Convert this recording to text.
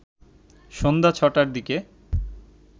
সন্ধ্যা ৬টার দিকে